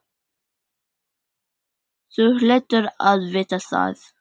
Þú hlýtur að vita það.